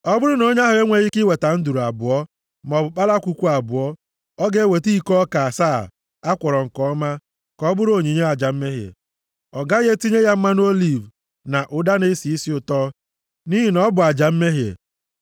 “ ‘Ọ bụrụ na onye ahụ enweghị ike iweta nduru abụọ, maọbụ kpalakwukwu abụọ, ọ ga-eweta iko ọka asaa a kwọrọ nke ọma ka ọ bụrụ onyinye aja mmehie. Ọ gaghị etinye ya mmanụ oliv na ụda na-esi isi ụtọ, nʼihi na ọ bụ aja mmehie.